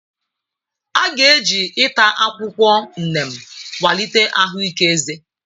A ga-eji ịta akwụkwọ neem kwalite ahụike eze.